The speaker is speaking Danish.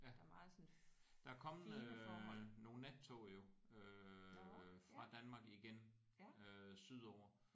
Ja. Der er kommet øh nogle nattog jo øh fra Danmark igen øh sydover